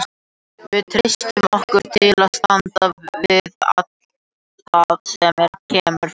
Við treystum okkur til að standa við allt það sem þar kemur fram.